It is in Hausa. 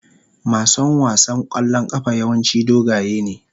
Mason wasan kwallon kafa yawanci dogaye ne.